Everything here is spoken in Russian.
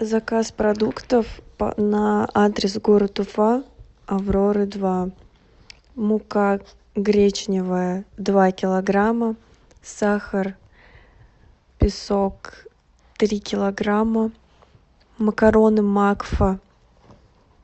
заказ продуктов на адрес город уфа авроры два мука гречневая два килограмма сахар песок три килограмма макароны макфа